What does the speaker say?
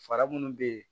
Fara munnu be yen